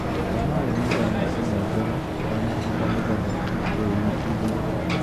ruta maĩ mũthenya ũmwe mbere ũtanahanda nĩgetha kũ tĩri igũrũ.